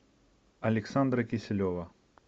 александра киселева